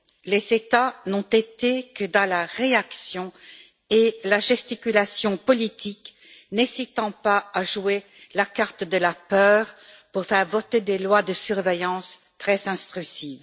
Les États n'ont été que dans la réaction et la gesticulation politique, n'hésitant pas à jouer la carte de la peur pour faire voter des lois de surveillance très intrusive.